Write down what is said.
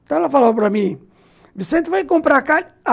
Então ela falava para mim, Vicente, vai comprar carne?